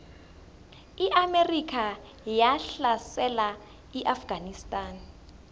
iamerika yahlasela iafganistan